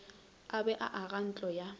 a be a agantlo ya